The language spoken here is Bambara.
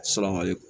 Surakali